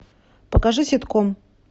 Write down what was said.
покажи ситком